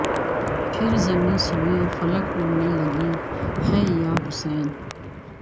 پھر زمیں سوئے فلک اڑنے لگی ہے یا حسین